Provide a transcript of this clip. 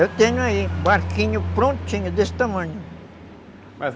Eu tenho aí um barquinho prontinho, desse tamanho.